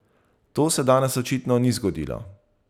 To se danes očitno ni zgodilo.